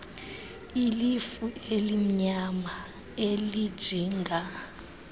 ilifu elimnyama elijinga